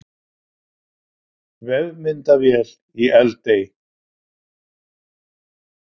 Vefmyndavél í Eldey